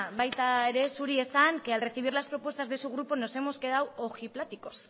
baita ere zuri esan que al recibir las propuestas de su grupo nos hemos quedado ojipláticos